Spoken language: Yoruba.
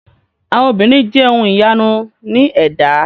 Àwọn obìnrin jẹ ohun ìyanu ní ẹ̀dá.